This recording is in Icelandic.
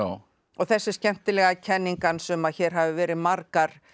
og þessi skemmtilega kenning hans um að hér hafi verið margar